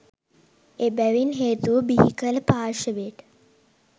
එබැවින් හේතුව බිහිකල පාර්ෂවයට